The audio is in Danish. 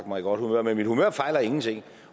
mig i godt humør men mit humør fejler ingenting